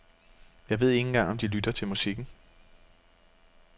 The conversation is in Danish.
Jeg ved ikke engang om de lytter til musikken.